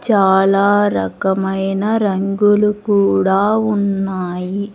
చాలా రకమైన రంగులు కూడా ఉన్నాయి.